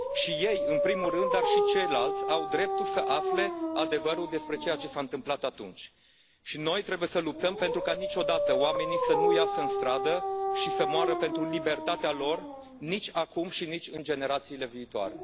Și ei, în primul rând, dar și ceilalți au dreptul să afle adevărul despre ceea ce s a întâmplat atunci și noi trebuie să luptăm pentru ca niciodată oamenii să nu iasă în stradă și să moară pentru libertatea lor, nici acum și nici în generațiile viitoare.